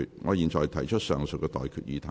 我現在向各位提出上述待決議題。